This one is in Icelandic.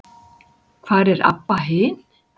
Hvar er Abba hin?